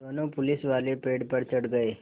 दोनों पुलिसवाले पेड़ पर चढ़ गए